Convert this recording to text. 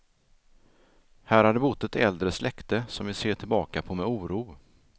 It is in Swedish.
Här hade bott ett äldre släkte, som vi ser tillbaka på med oro.